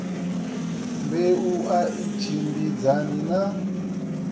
mbeu a i tshimbidzani na